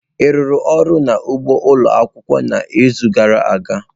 Ị rụrụ ọrụ n'ugbo ụlọ akwụkwọ n'izu gara aga?